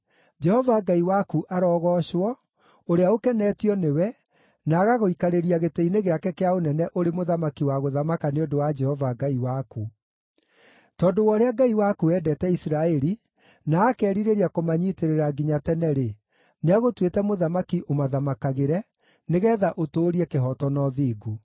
Jehova Ngai waku arogoocwo, ũrĩa ũkenetio nĩwe, na agagũikarĩria gĩtĩ-inĩ gĩake kĩa ũnene ũrĩ mũthamaki wa gũthamaka nĩ ũndũ wa Jehova Ngai waku. Tondũ wa ũrĩa Ngai waku endete Isiraeli, na akeerirĩria kũmanyiitĩrĩra nginya tene-rĩ, nĩagũtuĩte mũthamaki ũmathamakagĩre, nĩgeetha ũtũũrie kĩhooto na ũthingu.”